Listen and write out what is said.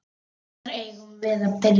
Hvar eigum við að byrja?